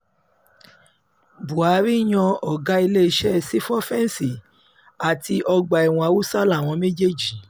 buhari yan ọ̀gá iléeṣẹ́ sífọ́fẹnsì àti ọgbà-ẹ̀wọ̀n haúsá láwọn méjèèjì